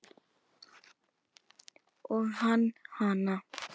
Og hann hana.